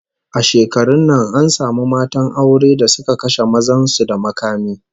A shekarun nan an samu matan aure da suka kashe mazan su da makami